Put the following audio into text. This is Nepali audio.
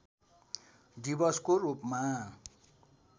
दिवसको रूपमा